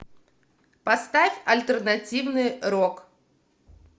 поставь альтернативный рок